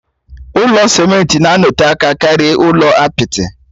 Ụlọ simenti na-anọte aka karịa ụlọ apịtị.